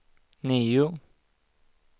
nio